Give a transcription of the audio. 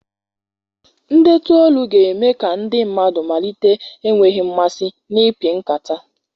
Ndetu olu ga-eme ka ndị mmadụ malite enweghị mmasị n'ịpị nkata.